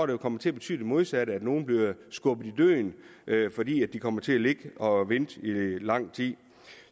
vil komme til at betyde det modsatte nemlig at nogle bliver skubbet i døden fordi de kommer til at ligge og vente lang tid